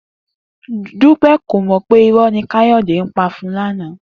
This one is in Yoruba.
Dúpé̩ kò mò̩ pé iró̩ ni Káyò̩dé ń pa fún òun lánàá